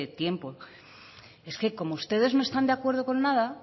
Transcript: tiempo es que como ustedes no están de acuerdo con nada